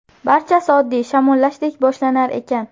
Barchasi oddiy shamollashdek boshlanar ekan.